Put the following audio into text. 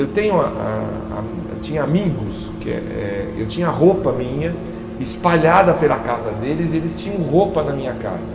Eu tenho a a a hum eu tinha amigos, que é é eu tinha roupa minha espalhada pela casa deles e eles tinham roupa na minha casa.